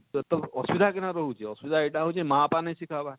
ତ ତ ଅସୁବିଧା କେନ ନ ରହୁଛେ ଅସୁବିଧା ଏଟା ହଉଛେ ମାଁ ବାପା ନେଇ ଶିଖାବାର